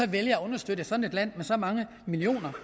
vælger at understøtte et sådant land med så mange millioner